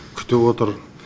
күтіп отыр